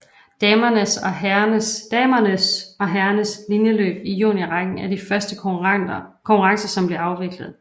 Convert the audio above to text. Damernes og herrernes linjeløb i juniorrækken er de første konkurrencer som bliver afviklet